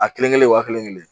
A kelen kelen wa kelen kelen